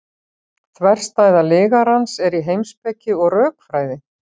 þverstæða lygarans er í heimspeki og rökfræði